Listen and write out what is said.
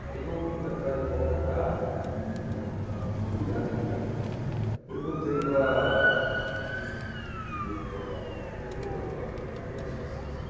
Daí eu fui atrás de uma outra casa, né, fui no numa imobiliária ali perto, perguntei para Fiz um contato com uma corretora, falei olha estou procurando assim, assim, assim.